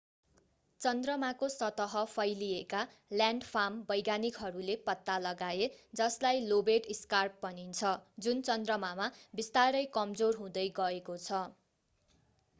चन्द्रमाको सतह फैलिएका ल्यान्डफार्म वैज्ञानिकहरूले पत्ता लगाए जसलाई लोबेट स्कार्प भनिन्छ जुन चन्द्रमामा बिस्तारै कमजोर हुँदै गएको छ